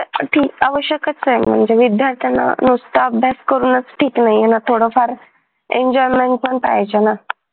साठी आवश्यकच आहे म्हणजे विद्यार्थ्यांना नुसत अभ्यास करूनच ठीक नाहीये ना थोडफार enjoyment पण पाहिजेय ना